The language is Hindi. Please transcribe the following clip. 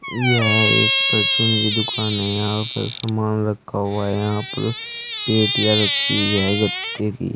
यह एक परचून की दुकान है यहां पर सामान रखा हुआ है यहां पर पेटियां रखी हुई है गत्ते की।